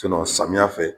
samiya fɛ